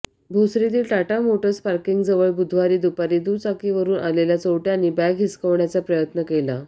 भोसरीतील Tata Motors पार्किंगजवळ बुधवारी दुपारी दुचाकीवरुन आलेल्या चोरट्यांनी बॅग हिसकावण्याचा प्रयत्न केला